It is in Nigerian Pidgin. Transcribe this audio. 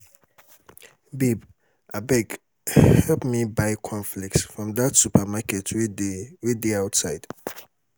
babe abeg help me buy corn flakes from dat supermarket wey dey dey outside